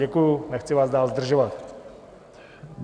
Děkuju, nechci vás dál zdržovat.